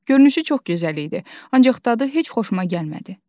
Görünüşü çox gözəlcə idi, ancaq dadı heç xoşuma gəlmədi.